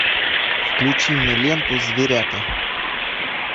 включи мне ленту зверята